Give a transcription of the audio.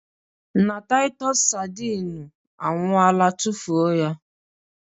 Na Taịtọs sardine anwụọla tufuo ya